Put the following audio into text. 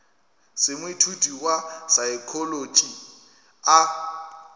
se moithuti wa saekholotši a